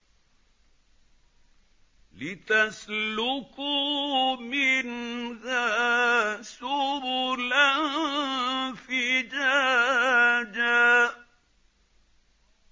لِّتَسْلُكُوا مِنْهَا سُبُلًا فِجَاجًا